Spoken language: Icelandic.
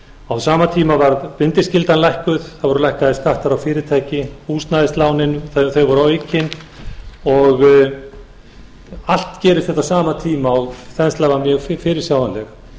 á sama tíma varð bindiskyldan lækkuð það voru lækkaðir skattar á fyrirtæki húsnæðislánin voru aukin og allt gerist þetta á sama tíma og þenslan var mjög fyrirsjáanleg